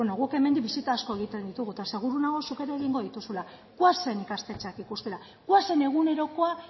guk hemendik bisita asko egiten ditugu eta seguru nago zuk ere egingo dituzula goazen ikastetxeak ikustera goazen egunerokoa